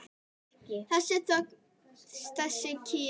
Þessi þögn, þessi kyrrð!